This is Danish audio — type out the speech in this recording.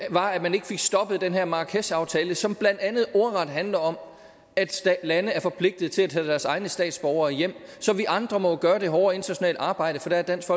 var at man ikke fik stoppet den her marrakeshaftale som blandt andet ordret handler om at lande er forpligtet til at tage deres egne statsborgere hjem så vi andre må jo gøre det hårde internationale arbejde for der er dansk